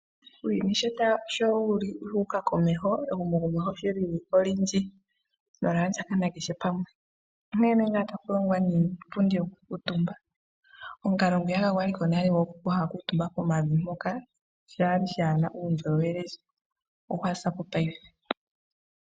Uuyuni showuli wuuka komeho ehumokomeho sholili olindji nolyaa ndjakana kehe pamwe, monena otaku longwa niipundi yokukuutumba, omukalo ngwiyaka gwali ko nale gwaantu haya kuutumba pomavi shali shana uundjolowele ogwa zapo paife.